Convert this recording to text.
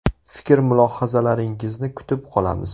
Fikr-mulohazalaringizni kutib qolamiz.